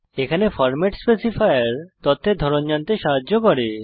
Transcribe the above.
এখানে format specifier তথ্যের ধরণ জানতে সাহায্য করে